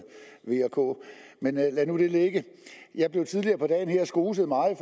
v og k men lad nu det ligge jeg blev tidligere på dagen skoset meget